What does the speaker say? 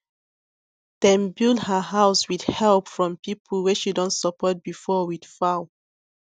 dem build her house with help from people wey she don support before with fowl